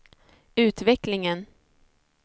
utvecklingen